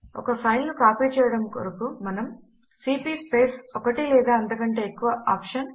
ఒక ఫైల్ ను కాపీ చేయడము కొరకు మనము సీపీ స్పేస్ ఒకటి లేదా అంతకంటే ఎక్కువ OPTION